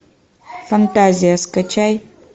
фантазия скачай